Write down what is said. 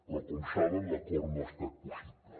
però com saben l’acord no ha estat possible